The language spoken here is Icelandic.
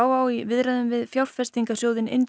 á í viðræðum við fjárfestingasjóðinn